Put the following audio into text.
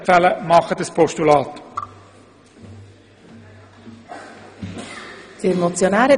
Deshalb würde ich Ihnen ein Postulat empfehlen.